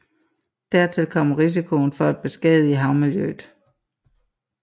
Dertil kommer risikoen for at beskadige havmiljøet